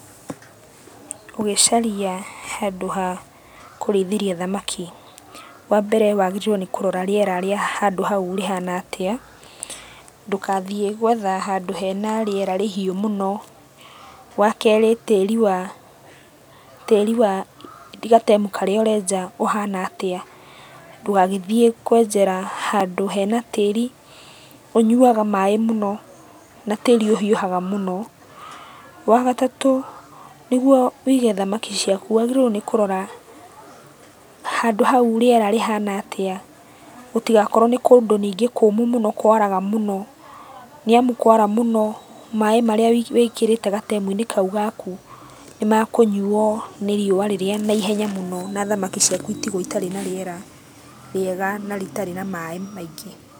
Ũgĩcaria handũ ha kũrĩithĩria thamaki, wambere wagĩrĩirũo nĩ kũrora rĩera rĩa handũ hau rĩhana atĩa, ndũgathiĩ gwetha handũ hena rĩera rĩhiũ mũno. Wakerĩ tĩri wa tĩri wa gatemu karĩa ũrenja ũhana atĩa, ndũgagĩthiĩ kwenjera handũ hena tĩri ũnyuaga maĩ mũno, na tĩri ũhiũhaga mũno. Wagatatũ nĩguo wĩige thamaki ciaku wagĩrĩirwo nĩ kũrora, handũ hau rĩera rĩhana atĩa, gũtigakorwo nĩ kũndũ ningĩ kũmũ mũno kũaraga mũno, nĩamu kũara mũno maĩ marĩa wĩkĩrĩte gatemu-inĩ kau gaku nĩmakũnyuo nĩ riũa rĩrĩa naihenya mũno na thamaki ciaku itigwo itarĩ na rĩera rĩega na rĩtarĩ na maĩ maingĩ.